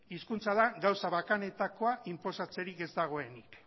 hizkuntza da gauza bakanetakoa inposatzerik ez dagoenik